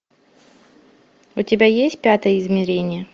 у тебя есть пятое измерение